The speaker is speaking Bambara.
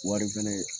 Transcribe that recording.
Wari fɛnɛ